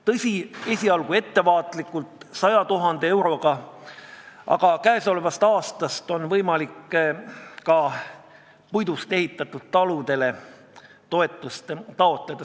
Tõsi, esialgu toetame seda ettevaatlikult, 100 000 euroga, aga käesolevast aastast on võimalik ka puidust ehitatud taludele toetust taotleda.